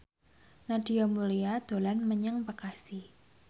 Nadia Mulya dolan menyang Bekasi